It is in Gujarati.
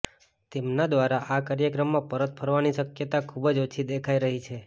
તેમના દ્વારા આ કાર્યક્રમમાં પરત ફરવાની શક્યતા ખૂબ જ ઓછી દેખાય રહી છે